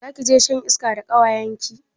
Zakije shan iska da kawayenki?